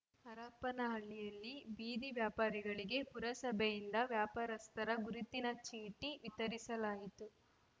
ಹರಪನಹಳ್ಳಿಯಲ್ಲಿ ಬೀದಿ ವ್ಯಾಪಾರಿಗಳಿಗೆ ಪುರಸಭೆಯಿಂದ ವ್ಯಾಪಾರಸ್ಥರ ಗುರುತಿನ ಚೀಟಿ ವಿತರಿಸಲಾಯಿತು